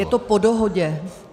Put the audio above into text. Je to po dohodě.